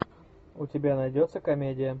у тебя найдется комедия